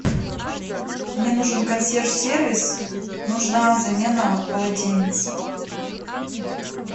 мне нужен консьерж сервис нужна замена полотенец